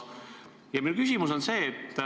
Minu küsimus on see.